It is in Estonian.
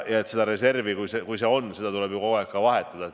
Ja seda reservi tuleb ju kogu aeg vahetada.